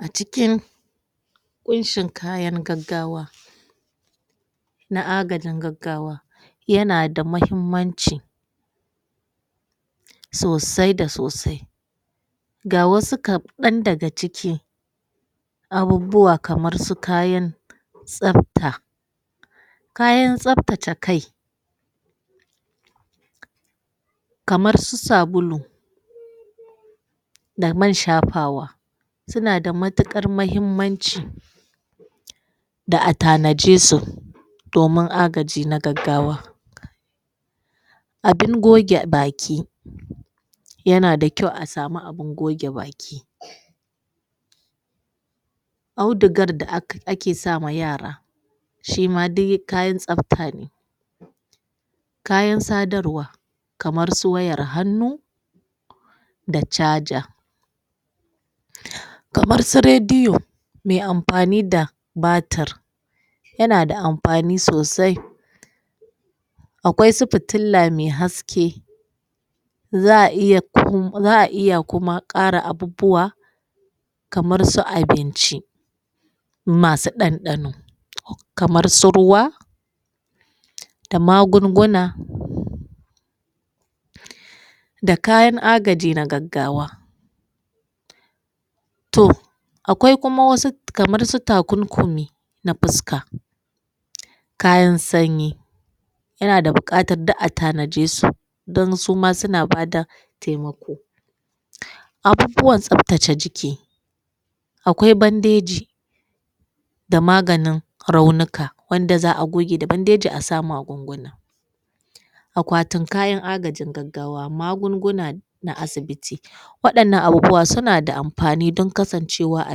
A cikin ƙunshin kayan gaggawa na agajin gaggawa yana da mahimmanci sosai da sosai ga wasu kaɗan daga ciki abubuwa kamar su kayan tsafta kayan tsaftace kai kamar su sabulu da man shafawa suna da matuƙar mahimmanci da a tanade su domin agaji na gaggawa abin goge baki yana da kyau a sami abun goge baki audigar da ake sama yara shima dai kayan tsafta ne kayan sadarwa kamar su wayar hannu da chaja kamar su Rediyo mai amfani da batir yana da amfani sosai akwai su fitila mai haske zaa iya kuma, za'a iya kuma ƙara abubuwa kamar su abinci masu ɗanɗano kamar su ruwa da magunguna da kayan agaji na gaggawa to akwai kuma wasu kamar su takunkumi na fuska kayan sanyi yana da buƙatar duka a tanade su dan sama suna bada taimako abubuwan tsaftace jiki akwai bandeji da maganin raunika wanda za'a goge da bangeji a sa magunguna akwatin kayan agajin gaggawa, magunguna na asibiti, waɗannan abubuwa suna da amfani dan kasancewa a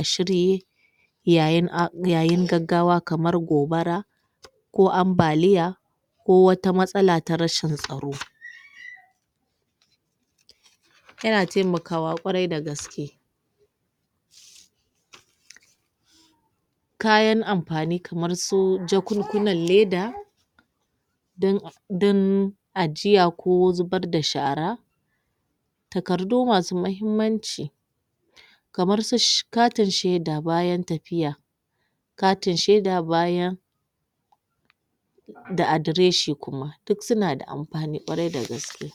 shirye yayin a yayi gaggawa kamar gobara ko ambaliya ko wata matsala ta rashin tsoro yana taimakawa kwarai da gaske kayan amfani kamar su jakunkunan leda don don ajjiya ko zubar da shara takardu masu mahimmanci kamar su she katin shaida bayan tafiya katin shaida bayan da adreshi kuma duk suna da amfani kwarai da gaske